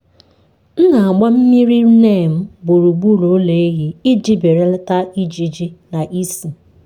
m na-agba mmiri neem gburugburu ụlọ ehi iji belata ijiji na ísì.